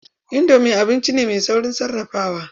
Indomi abinci ne mai sauƙin sarrafawa.